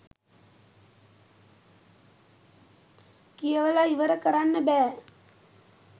කියවල ඉවර කරන්න බෑ